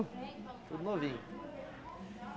Tudo novinho.